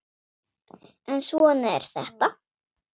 En svona er þetta.